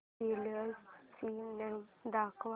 popular cinema दाखव